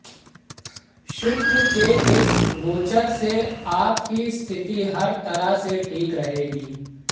शुक्र के इस गोचर से आपकी स्थिति हर तरह से ठीक रहेगी